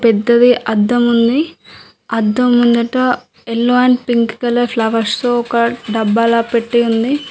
పెద్దది అద్దం ఉంది. అద్దం ముందట yellow and pink colour flowers తో ఒక డబ్బాలా పెట్టి ఉంది.